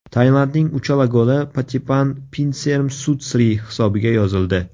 Tailandning uchala goli Patipan Pinsermsutsri hisobiga yozildi.